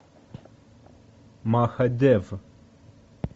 махадев